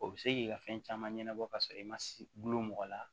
O bɛ se k'i ka fɛn caman ɲɛnabɔ ka sɔrɔ i ma gulon mɔgɔ la